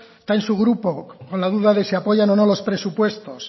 está en su grupo con la duda de si apoyan o no los presupuestos